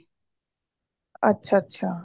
ਅੱਛਾ ਅੱਛਾ